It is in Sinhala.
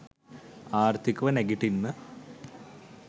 ආර්ථිකව නැගිටින්න